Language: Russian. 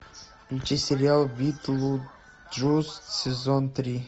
включи сериал битлджус сезон три